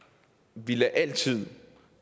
vi altid